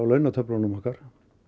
launatöflum okkar